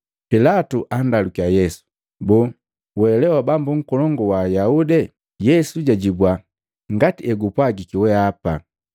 Pilatu andalukiya Yesu, “Boo, we lee Bambu Nkolongu wa Ayaude?” Yesu jajibua, “Ngati egupwagiki weapa.”